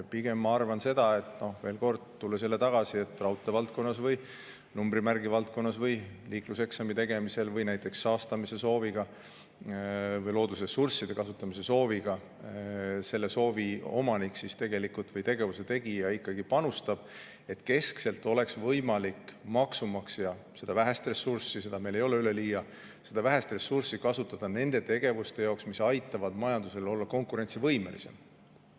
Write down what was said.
Pigem ma arvan seda – tulles jälle tagasi selle juurde, et raudtee valdkonnas või numbrimärgi valdkonnas või liikluseksami tegemisel, saastamise soovi või loodusressursside kasutamise soovi korral selle soovi omanik või tegevuse tegija ikkagi panustab –, et keskselt oleks võimalik maksumaksjal seda vähest ressurssi, mida meil ei ole üleliia, kasutada nende tegevuste jaoks, mis aitavad majandusel olla konkurentsivõimelisem.